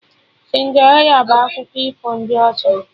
Cinderịla bụ akụkọ ifo ndị ọcha